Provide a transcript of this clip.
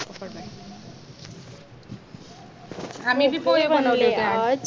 आम्ही बी पोहे बनवले होते आज